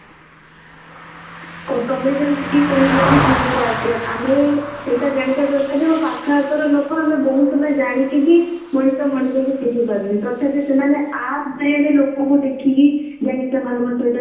ଆଉ ତମେ ଯେମିତି କହିଲ ଯେ tinder ରେ ଆମେ ସେଇଟା ଜାଣିବା ଦରକାର ଯେ ହଁ ପାଖ ହାଖ ର ଲୋକ ଆମେ ବହୁତ ସମୟ ଜାଣିକି ବି ମଣିଷ ମଣିଷ କୁ ଚିହ୍ନି ପରୁନେ ତଥାପି ସେମାନେ app ଜରିଆ ରେ ଲୋକଙ୍କୁ ଦେଖିକି ଯାଇକି ସେମାନଙ୍କ ସହିତ